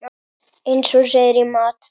Eins og segir í Matt.